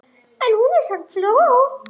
En hún er samt flott.